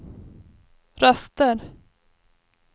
röster